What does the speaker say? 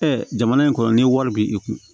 jamana in kɔnɔ ni wari b'i kun